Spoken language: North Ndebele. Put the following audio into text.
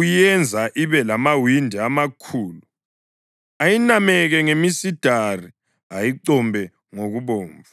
uyenza ibe lamawindi amakhulu, ayinameke ngemisidari, ayicombe ngokubomvu.